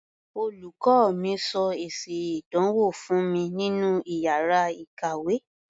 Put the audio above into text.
Olùkọ́ mi sọ èsì ìdánwò fún mi nínú iyàrá ìkàwé.